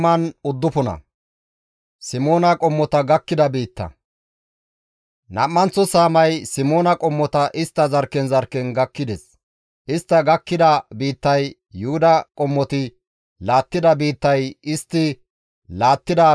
Nam7anththo saamay Simoona qommota istta zarkken zarkken gakkides. Istta gakkida biittay Yuhuda qommoti laattida biittay istti laattida biitta giddoththi uttides.